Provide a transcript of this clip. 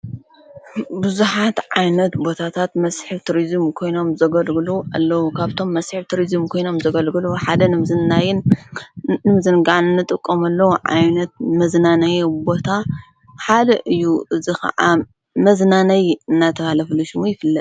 ብዙሓት ዓይነት ቦታታት መስሕብ ትሩዝም ኮይኖም ዘገልግሉ ኣለዉ ።ኻብቶም መሢሒብ ቱራዝም ኮይኖም ዘገልግሉ ሓደ ናይን ንምዝንጋኒ ጥቆምለዉ ዓይነት መዝናነይ እቦታ ሓደ እዩ ።እዝ ኸዓ መዝናነይ እናተሃለፍሉ ሽሙ ይፍለ።